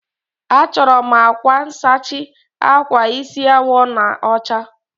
Achọrọ m akwa nsachi akwa isi awọ na ọcha.